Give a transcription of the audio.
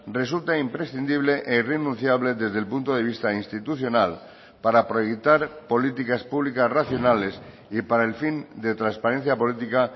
resulta imprescindible e irrenunciable desde el punto de vista institucional para proyectar políticas públicas racionales y para el fin de transparencia política